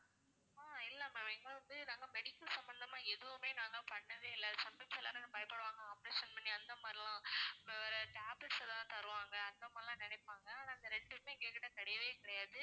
ஆஹ் இல்ல ma'am இங்க வந்து நாங்க medical சம்மந்தம்மா எதுவுமே நாங்க பன்ணவே இல்ல அது sometimes எல்லாரும் பயப்படுவாங்க operation பண்ணி அந்த மாதிரியெல்லாம் இப்போ வேற tablets எல்லாம் தருவாங்க அந்த மாதிரி எல்லாம் நினைப்பாங்க ஆனா இந்த ரெண்டுமே எங்க கிட்ட கிடையவே கிடையாது